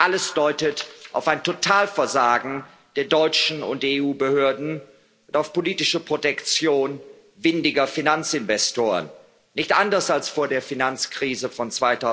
Alles deutet auf ein Totalversagen der deutschen und EU Behörden und auf politische Protektion windiger Finanzinvestoren nicht anders als vor der Finanzkrise von